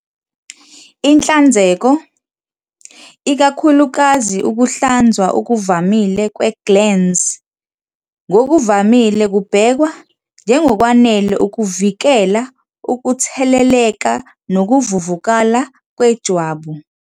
Inhlanzeko, ikakhulukazi ukuhlanzwa okuvamile kwe-glans, ngokuvamile kubhekwa njengokwanele ukuvikela ukutheleleka nokuvuvukala kwejwabu.